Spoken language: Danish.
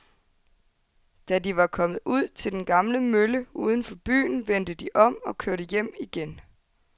Da de var kommet ud til den gamle mølle uden for byen, vendte de om og kørte hjem igen.